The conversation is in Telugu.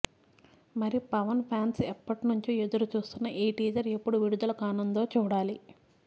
మరి పవన్ ఫ్యాన్స్ ఎప్పటి నుంచో ఎదురు చూస్తున్న ఈ టీజర్ ఎప్పుడు విడుదల కానుందో చూడాలి